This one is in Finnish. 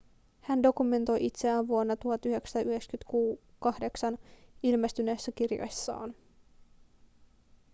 hän dokumentoi itseään vuonna 1998 ilmestyneessä kirjassaan